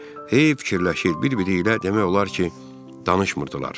Hey fikirləşir, bir-biri ilə demək olar ki, danışmırdılar.